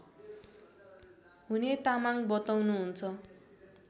हुने तामाङ बताउनुहुन्छ